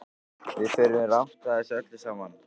Við förum rangt að þessu öllu saman.